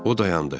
O dayandı.